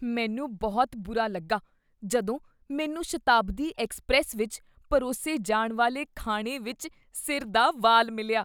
ਮੈਨੂੰ ਬਹੁਤ ਬੁਰਾ ਲੱਗਾ ਜਦੋਂ ਮੈਨੂੰ ਸ਼ਤਾਬਦੀ ਐੱਕਸਪ੍ਰੈਸ ਵਿੱਚ ਪਰੋਸੇ ਜਾਣ ਵਾਲੇ ਖਾਣੇ ਵਿੱਚ ਸਿਰ ਦਾ ਵਾਲ ਮਿਲਿਆ।